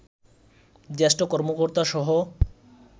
জ্যেষ্ঠ কর্মকর্তাসহ